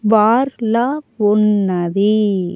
Bar లా ఉన్నది.